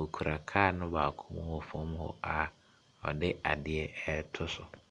Ɔkura kaa no baako mu hɔ fam hɔ a ɔde adeɛ reto so.